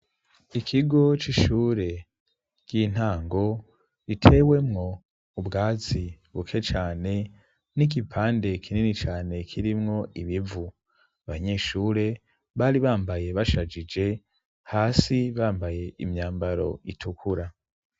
Ikigo c'ishure ry'intango ritewemo ubwazi buke cyane, n'igipande kinini cyane kirimwo ibivu. Abanyeshure bari bambaye bashajije hasi bambaye imyambaro itukura.